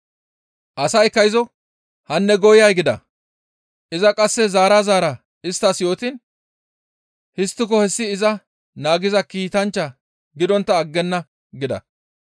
Asaykka izo, «Hanne gooyay!» gida; iza qasse zaara zaara isttas yootiin, «Histtiko hessi iza naagiza kiitanchchaa gidontta aggenna» gida.